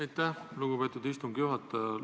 Aitäh, lugupeetud istungi juhataja!